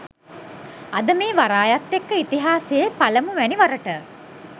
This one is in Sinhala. අද මේ වරායත් එක්ක ඉතිහාසයේ පළමුවැනි වරට